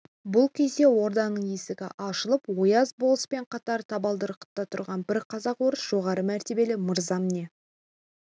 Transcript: бұл кезде орданың есігі ашылып ояз болыспен қатар табалдырықта тұрған бір казак-орыс жоғары мәртебелі мырзам не